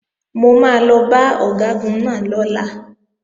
Mo máa lọ bá Ọ̀gágun náà lọ́la